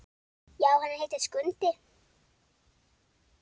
Já, hann heitir Skundi.